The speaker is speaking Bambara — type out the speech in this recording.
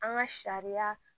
An ka sariya